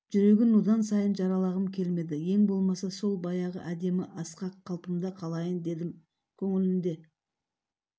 жүрегін одан сайын жаралағым келмеді ең болмаса сол баяғы әдемі асқақ қалпымда қалайын дедім көңілінде